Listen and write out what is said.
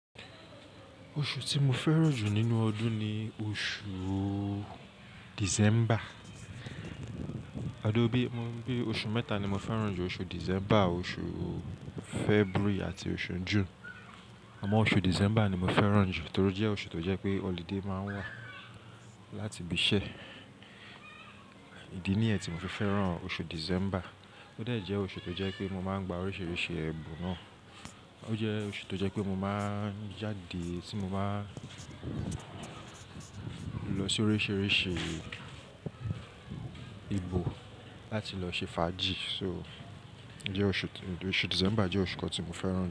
Oṣù tí mo fẹ́ràn jù nínú ọdún ni oṣù December. Adobi, mo ń bí oṣù mẹ́ta ni mo fẹ́ràn jù. Oṣù December, oṣù February àti oṣù June. Àmọ́, oṣù December ni mo fẹ́ràn jù torí jẹ́ oṣù tó jẹ pé holiday máa ń wà láti ibi iṣẹ́. Ìdí nìyẹn tí mo fi fẹ́ràn oṣù December. Ó dẹ jẹ́ oṣù tó jẹ pé mo máa ń gba oríṣiríṣi ẹbùn náà. Ó jẹ́ oṣù tó jẹ pé mo máa ń jáde tí mo báa ń lọ sí oríṣiríṣi ibo láti lọ ṣe fàájì. So, oṣù December jẹ́ oṣù kan tí mo fẹ́ràn jù.